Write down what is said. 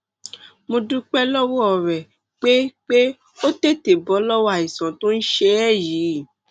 mo dúpẹ lọwọ rẹ pé pé o tètè bọ lọwọ àìsàn tó ń ṣe ẹ yìí